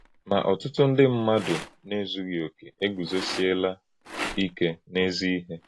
Ma, ọ̀tùtù nde Ụ́mụ̀mmádụ na-èzúghì ọ̀kè ègùzosìèlá íké n’èzí-íhè.